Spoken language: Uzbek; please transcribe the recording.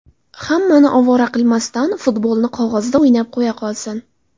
Hammani ovora qilmasdan futbolni qog‘ozda ‘o‘ynab’ qo‘ya qolsin.